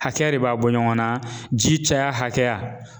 Hakɛ de b'a bɔ ɲɔgɔn na ji caya hakɛya.